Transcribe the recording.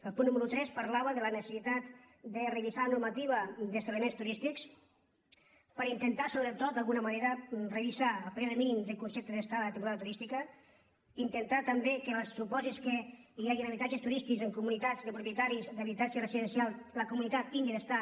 el punt número tres parlava de la necessitat de revisar la normativa d’esta·bliments turístics per intentar sobretot d’alguna ma·nera revisar el període mínim del concepte d’estada de temporada turística intentar també que en els su·pòsits que hi hagin habitatges turístics en comunitats de propietaris d’habitatges residencials la comuni·tat tingui d’estar